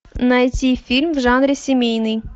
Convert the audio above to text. найти фильм в жанре семейный